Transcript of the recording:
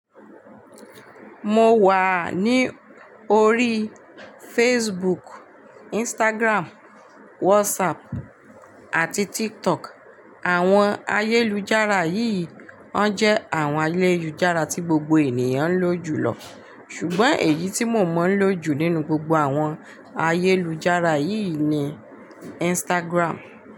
Mo wà ní orí Facebook, Instagram, WhatsApp àti TikTok. Àwọn ayélujára yì won jẹ́ àwọn ayélujára tí gbogbo ènìyàn ń lò jùlọ. Ṣùgbọ́n èyí tí mo mọ̀ ń lò jù nínú gbogbo àwọn ayélujára yì ni Instagram.